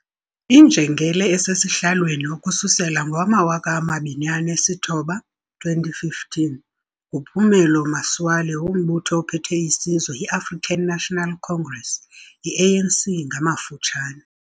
Injengele esesihlalweni ukususela ngowamawaka amabini anesithoba, 2015, nguPhumulo Masualle wombutho ophethe isizwe iAfrican National Congress, iANC ngamafutshane.